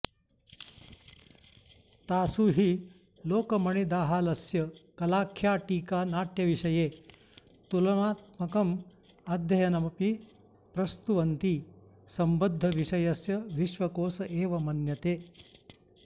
तासु हि लोकमणिदाहालस्य कलाख्या टीका नाट्यविषये तुलनात्मकमध्ययनमपि प्रस्तुवन्ती सम्बद्धविषयस्य विश्वकोश एव मन्यते